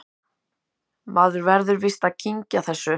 Maður verður víst að kyngja þessu